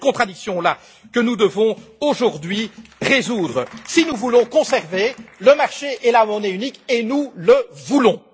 C'est cette contradiction là que nous devons aujourd'hui résoudre si nous voulons conserver le marché et la monnaie uniques, et nous le voulons.